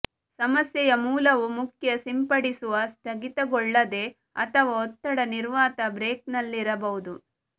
ಸಮಸ್ಯೆಯ ಮೂಲವು ಮುಖ್ಯ ಸಿಂಪಡಿಸುವ ಸ್ಥಗಿತಗೊಳ್ಳುತ್ತದೆ ಅಥವಾ ಒತ್ತಡ ನಿರ್ವಾತ ಬ್ರೇಕರ್ನಲ್ಲಿರಬಹುದು